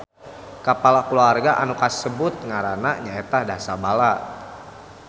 Kapala kulawarga anu kasebut ngaranna nyaeta Dasabala